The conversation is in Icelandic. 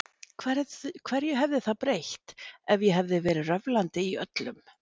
Hverju hefði það breytt ef ég hefði verið röflandi í öllum?